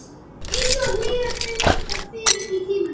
Einsog hlýjar hendurnar fyrr í tímanum.